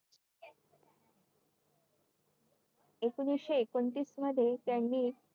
एकोणीशे एकोणतीस मध्ये त्यांनी